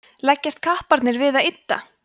leggjast kapparnir við að ydda